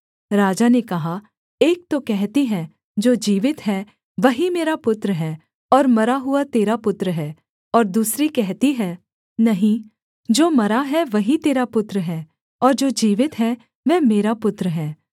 राजा ने कहा एक तो कहती है जो जीवित है वही मेरा पुत्र है और मरा हुआ तेरा पुत्र है और दूसरी कहती है नहीं जो मरा है वही तेरा पुत्र है और जो जीवित है वह मेरा पुत्र है